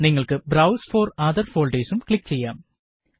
നിങ്ങള്ക്ക് browse for other ഫോള്ഡേര്സും click ചെയ്യാം